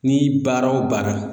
Ni baara o baara